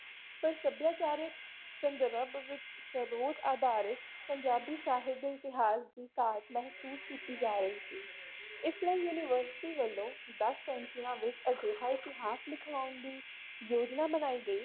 ਪਰ ਸਭਿਆਚਾਰਕ ਸੰਦਰਭ ਵਿੱਚ ਸਰੋਤ ਆਧਾਰਿਤ ਪੰਜਾਬੀ ਸਾਹਿਤ ਦੇ ਇਤਿਹਾਸ ਦੀ ਘਾਟ ਮਹਿਸੂਸ ਕੀਤੀ ਜਾ ਰਹੀ ਸੀ ਇਸ ਲਈ university ਵੱਲੋਂ ਦਸ ਸੈਂਚੀਆਂ ਵਿੱਚ ਅਜਿਹਾ ਇਤਿਹਾਸ ਲਿਖਵਾਉਣ ਦੀ ਯੋਜਨਾ ਬਣਾਈ ਗਈ।